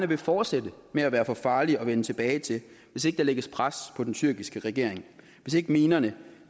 vil fortsætte med at være for farlig at vende tilbage til hvis ikke der lægges pres på den tyrkiske regering hvis ikke minerne